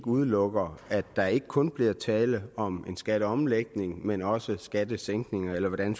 udelukker at der ikke kun bliver tale om en skatteomlægning men også om en skattesænkning eller hvordan